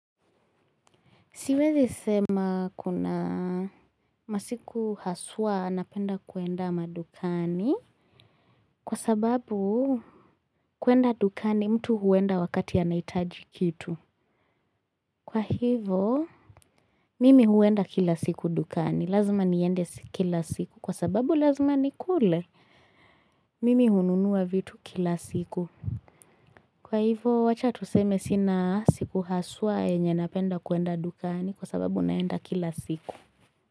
Siwezi sema kuna masiku haswa anapenda kwenda madukani kwa sababu kwenda dukani mtu huenda wakati anahitaji kitu. Kwa hivyo, mimi huenda kila siku dukani. Lazima niende kila siku kwa sababu lazima nikule. Mimi hununua vitu kila siku. Kwa hivyo wacha tuseme sina siku haswa yenye napende kwenda dukani kwa sababu naenda kila siku.